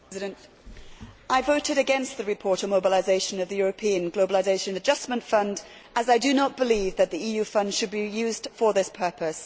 Madam President, I voted against the report on the mobilisation of the European Globalisation Adjustment Fund as I do not believe that the EU funds should be used for this purpose.